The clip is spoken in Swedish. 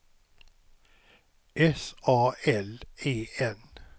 S A L E N